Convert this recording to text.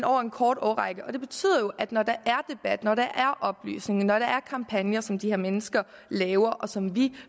over en kort årrække det betyder at når der er at når der er oplysning at når der er kampagner som de mennesker laver og som vi